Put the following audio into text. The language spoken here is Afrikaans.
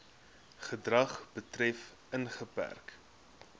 gedrag betref ingeperk